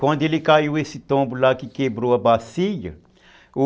Quando ele caiu esse tombo lá que quebrou a bacia, o...